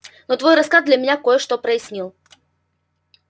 но твой рассказ для меня кое-что прояснил